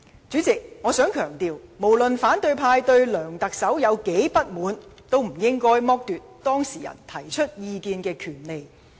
主席，我想強調，無論反對派議員對梁特首如何不滿，亦不應剝奪當事人提出意見的權利。